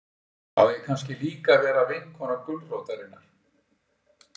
Á ég kannski líka að vera vinkona gulrótarinnar?